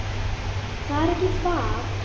Það er ekki það.